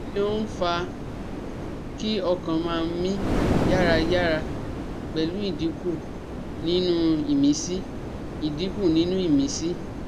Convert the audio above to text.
Kí ni ó ń fa kí ọkàn ma mi yarayaraa pelu idinku ninu imisi? idinku ninu imisi?